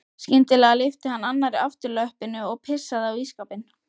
Skyndilega lyfti hann annarri afturlöppinni og pissaði á ísskápinn.